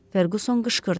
Ferquson qışqırdı.